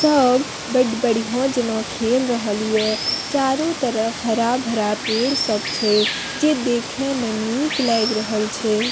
सब बड़ बढ़िया जाना खेल रहल ये चारो तरफ हरा-भरा पेड़ सब छै जे देखे में निक लाएग रहल छै।